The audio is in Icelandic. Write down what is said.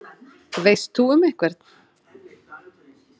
Veist þú um einhvern?